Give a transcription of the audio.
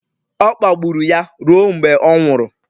Ọ kpagburu ya ruo mgbe ọ nwụrụ..